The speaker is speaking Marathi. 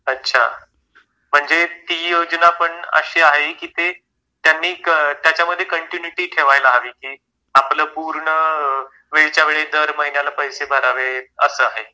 अच्छा. म्हणजे ती योजना पण अशी आहे की त्यांनी त्याच्यामध्ये कंटिन्यूटी ठेवायला हवी की आपलं पूर्ण वेळेच्या वेळी दर महिन्याला पैसे भरावे असं आहे.